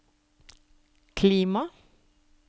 klima